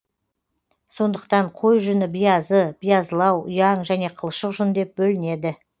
сондықтан қой жүні биязы биязылау ұяң және қылшық жүн деп бөлінеді